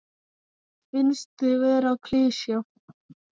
Finnst þau vera klisja.